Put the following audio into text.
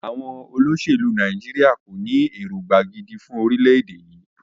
Àwọn olóṣèlú Nàìjíríà kò ní èròngbà gidi fún orílẹ̀-èdè.